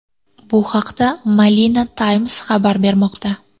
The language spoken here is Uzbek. Bu haqda Manila Times xabar bermoqda .